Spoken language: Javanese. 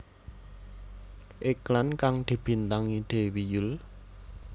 Iklan kang dibintangi Dewi Yull